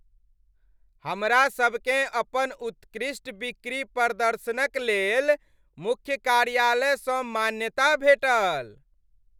हमरा सभकेँ अपन उत्कृष्ट बिक्री प्रदर्शनक लेल मुख्य कार्यालयसँ मान्यता भेटल।